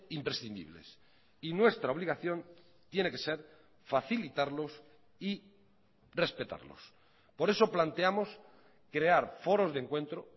imprescindibles y nuestra obligación tiene que ser facilitarlos y respetarlos por eso planteamos crear foros de encuentro